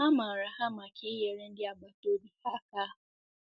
A maara ha maka inyere ndị agbata obi ha ha